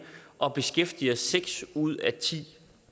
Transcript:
og beskæftiger seks ud af ti